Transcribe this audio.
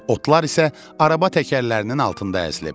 Otlar isə araba təkərlərinin altında əzilib.